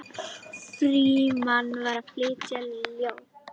Frímann var að flytja ljóð.